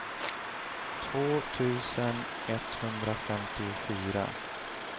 två tusen etthundrafemtiofyra